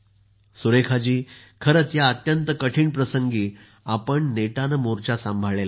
सुरेखाजी खरंच या अत्यंत कठीण प्रसंगी आपण नेटाने मोर्चा सांभाळला आहे